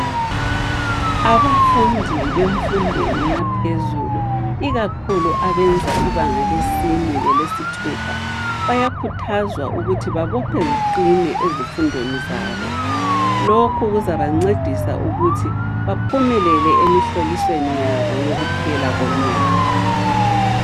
Abafundi bemfundweni yaphezulu ikakhulu abenza ibanga lesine lelesithupha, bayakhuthazwa ukuthi babophe ziqinize ezifundweni zabo. Lokhu kuzabancedisa ukuthi baphumelele emihlolisweni yabo yokuphela komnyaka.